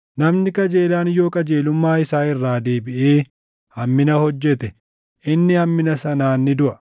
Namni qajeelaan yoo qajeelummaa isaa irraa deebiʼee hammina hojjete, inni hammina sanaan ni duʼa.